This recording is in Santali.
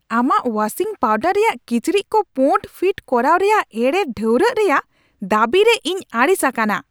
ᱟᱢᱟᱜ ᱳᱣᱟᱥᱤᱝ ᱯᱟᱣᱰᱟᱨ ᱨᱮᱭᱟᱜ ᱠᱤᱪᱨᱤᱡ ᱠᱚ ᱯᱳᱸᱲ ᱯᱷᱤᱴ ᱠᱚᱨᱟᱣ ᱨᱮᱭᱟᱜ ᱮᱲᱮ ᱰᱷᱟᱣᱨᱟᱜ ᱨᱮᱭᱟᱜ ᱫᱟᱹᱵᱤᱨᱮ ᱤᱧ ᱟᱹᱲᱤᱥᱤᱧ ᱟᱠᱟᱱᱟ ᱾